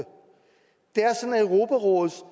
europarådets